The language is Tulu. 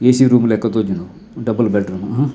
ಏಸಿ ರೂಮ್ ಲೆಕ ತೋಜುಂಡು ಡಬಲ್ ಬೆಡ್ ರೂಮ್ ಹಾ.